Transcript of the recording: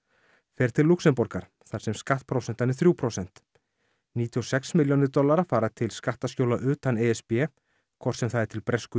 fer til Lúxemborgar þar sem skattprósentan er þrjú prósent níutíu og sex milljónir dollara fara til skattaskjóla utan e s b hvort sem það er til Bresku